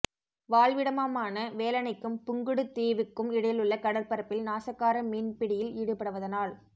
வாழ்விடமாமான வேலணைக்கும் புங்குடு தீவுக்கும் இடையிலுள்ள கடற்பரப்பில் நாசகார மீன் பிடியில் ஈடுபடுவதனால்